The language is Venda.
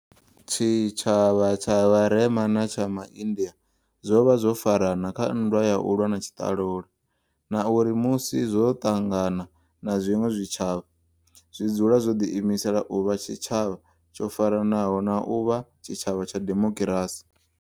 Tshitshavha tsha vharema na tsha maindia zwo vha zwo farana kha nndwa ya u lwa na tshiṱalula, na uri musi zwo ṱangana na zwiṅwe zwitshavha, zwi dzula zwo ḓiimisela u vha tshitshavha tsho faranaho na u vha tshitshavha tsha demokirasi.